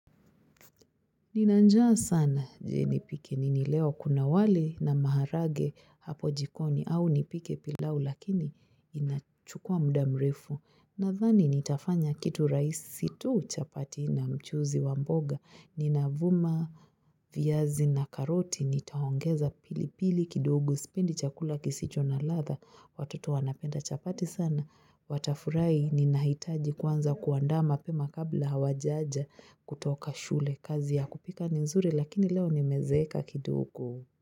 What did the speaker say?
Nina njaa sana. Je?, nipike nini leo,? Kuna wali na maharagwe hapo jikoni au nipike pilau lakini inachukua muda mrefu. Nadhani nitafanya kitu rahisi tu, chapati na mchuuziwa mboga. Nina vuma, viazi na karoti nitaongeza pilipili kidogo sipendi chakula kisicho na ladha. Watoto wanapenda chapati sana. Watafurahi ninahitaji kwanza kuandama pema kabla hawajaja kutoka shule kazi ya kupika ni nzuri lakini leo nimezeeka kidogo.